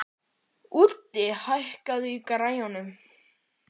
Úddi, hækkaðu í græjunum.